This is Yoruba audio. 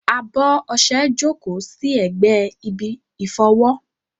Abọ́ ọṣẹ jókòó sí ẹ̀gbẹ́ ibi ìfọwọ́.